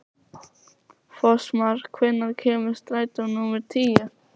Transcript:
Fossmar, hvenær kemur strætó númer tíu?